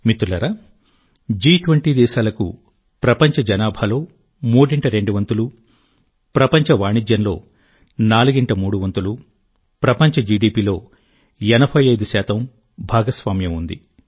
మిత్రులారాజి20 దేశాలకు ప్రపంచ జనాభాలో మూడింట రెండు వంతులు ప్రపంచ వాణిజ్యంలో నాలుగింట మూడు వంతులు ప్రపంచ జిడిపిలో 85భాగస్వామ్యం ఉంది